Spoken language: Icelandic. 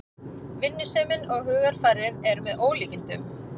Vinnusemin og hugarfarið er með ólíkindum